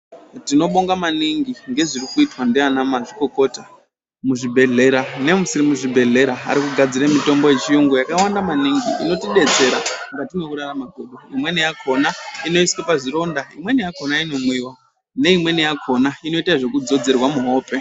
Tinobonga maningi ngezviri kuitwa ndiana mazvikokota muzvibhedhlera nemusiri muzvibhedhlera vari kugadzira mitombo arikugadzire mitombo yechiyungu yakawanda maningi inotidetsera mukati mwekurarama kwedu imweni yakona inoiswe pazvironda imweni yakona inomwiwa neimweni yakhona inoita zvekudzodzorwa muhope.